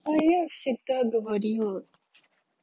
а я всегда говорила